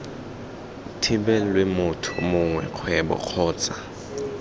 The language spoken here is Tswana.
thibelwe motho mongwe kgwebo kgotsa